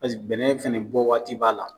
Paseke bɛnɛn fɛnɛ bɔ waati b'a la.